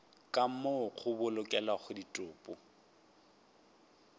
ka moo go bolokelwago ditopo